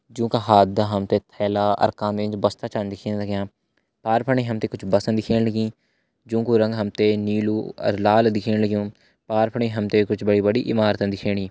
जुं का हाथदा हम ते थैला अर कांधा एंच बस्ता छा दिखेण लग्यां पार फणी हम ते कुछ बस दिखेण लगीं जुं कु रंग हम ते नीलू अर लाल दिखेण लग्युं पार फणी हम ते कुछ बड़ी बड़ी इमारत दिखेण लगीं।